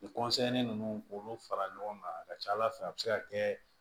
Ni ninnu k'olu fara ɲɔgɔn kan a ka ca ala fɛ a be se ka kɛ